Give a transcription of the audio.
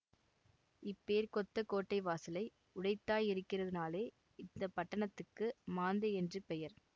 இப்பேர்க்கொத்த கோட்டை வாசலை உடைத்தாயிருக்கிறதனாலே இந்த பட்டணத்துக்கு மாந்தை என்று பெயர்